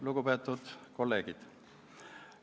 Lugupeetud kolleegid!